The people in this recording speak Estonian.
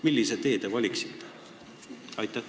Millise tee teie valiksite?